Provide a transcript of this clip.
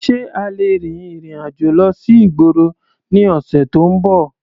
Ṣé a lè rin ìrìn-àjò lọ sí ìgboro ní ọ̀sẹ̀ tó ń bọ̀?